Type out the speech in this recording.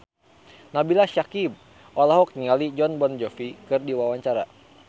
Nabila Syakieb olohok ningali Jon Bon Jovi keur diwawancara